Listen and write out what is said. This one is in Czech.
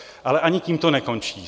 Ale ani tím to nekončí.